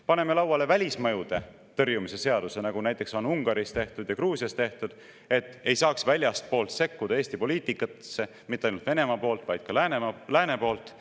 Paneme lauale välismõjude tõrjumise seaduse, nagu on Ungaris ja Gruusias tehtud, et ei saaks väljastpoolt sekkuda Eesti poliitikasse, ja mitte ainult Venemaa poolt, vaid ka lääne poolt.